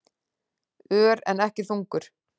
Ör, en ekki þungur.